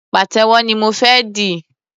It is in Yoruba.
Pàtẹ́wọ́ ni mo fé di.